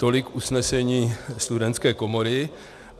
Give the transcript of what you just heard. Tolik usnesení Studentské komory.